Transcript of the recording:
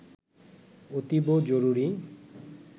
অতীব জরুরি